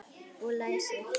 Og læsir.